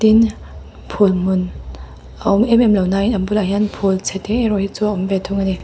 phul hmun a awm em em lo na in a bulah hian in phul chhete erawh hi chu a awm ve thung a ni.